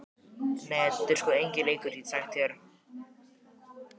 Nei, þetta er sko enginn leikur, get ég sagt þér.